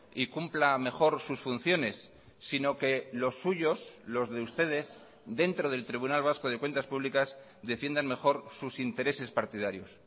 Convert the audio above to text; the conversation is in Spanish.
y cumpla mejor sus funciones sino que los suyos los de ustedes dentro del tribunal vasco de cuentas públicas defiendan mejor sus intereses partidarios